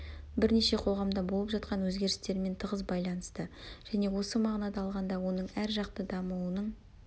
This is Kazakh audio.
бірнеше қоғамда болып жатқан өзгерістермен тығыз байланысты және осы мағынада алғанда оның әржақты дамуының